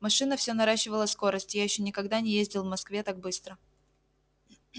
машина все наращивала скорость я ещё никогда не ездил в москве так быстро